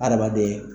Adamaden